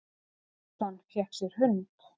Sveinsson, fékk sér hund.